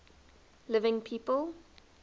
living people